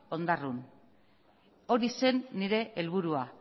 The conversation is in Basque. ondarroan hori zen nire helburua